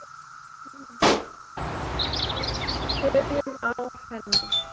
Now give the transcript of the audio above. Byrjum á henni.